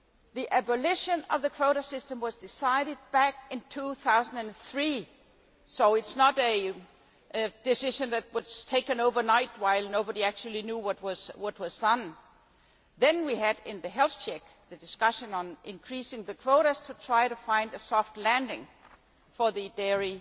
The abolition of the quota system was decided back in 2003 so it is not a decision that was taken overnight while nobody knew what was happening. Then, in the health check, we had the discussion on increasing the quotas to try to find a soft landing for the dairy